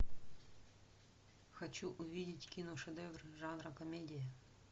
хочу увидеть киношедевр жанра комедия